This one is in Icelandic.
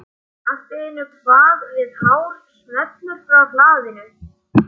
Allt í einu kvað við hár smellur frá hlaðinu.